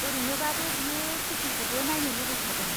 ओरैनोबाबो बियो सिटिखौबो नायनो लुबैखादों।